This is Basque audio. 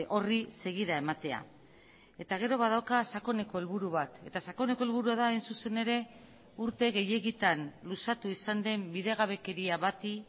horri segida ematea eta gero badauka sakoneko helburu bat eta sakoneko helburua da hain zuzen ere urte gehiegitan luzatu izan den bidegabekeria bati